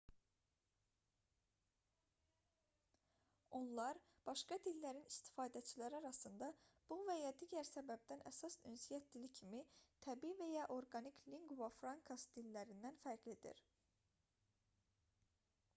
onlar başqa dillərin istifadəçiləri arasında bu və ya digər səbəbdən əsas ünsiyyət dili kimi təbii və ya orqanik lingua francas dillərindən fərqlidir